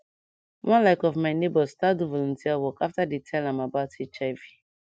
one like of my neighbors start do volunteer work after dey tell am about hiv